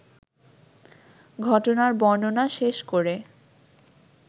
ঘটনার বর্ণনা শেষ করে